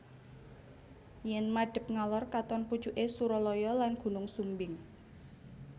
Yen madhep ngalor katon pucuke Suralaya lan Gunung Sumbing